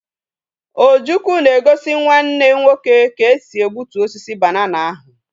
Ojukwu ga egosi Nwa nne nwoke ka esi egbutu osisi banana ahu